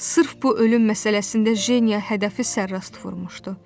Sırf bu ölüm məsələsində Jeniya hədəfi sərrast vurmuşdu.